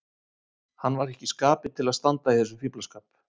Hann var ekki í skapi til að standa í þessum fíflaskap.